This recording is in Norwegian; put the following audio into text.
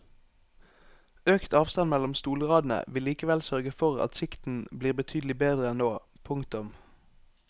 Økt avstand mellom stolradene vil likevel sørge for at sikten blir betydelig bedre enn nå. punktum